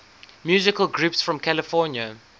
musical groups from california